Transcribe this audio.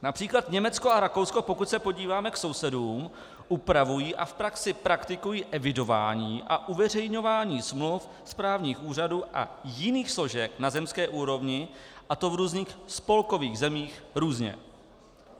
Například Německo a Rakousko, pokud se podíváme k sousedům, upravují a v praxi praktikují evidování a uveřejňování smluv správních úřadů a jiných složek na zemské úrovni, a to v různých spolkových zemích různě.